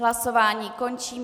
Hlasování končím.